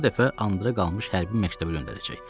Sonra da bu dəfə Andra qalmış hərbi məktəbə göndərəcək.